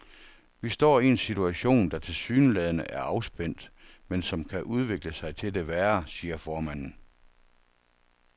Vi står i en situation, der tilsyneladende er afspændt, men som kan udvikle sig til det værre, siger formanden.